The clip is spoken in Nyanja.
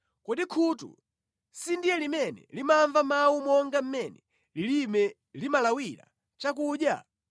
Kodi khutu sindiye limene limamva mawu monga mmene lilime limalawira chakudya?